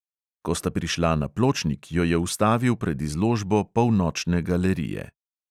Ko sta prišla na pločnik, jo je ustavil pred izložbo polnočne galerije.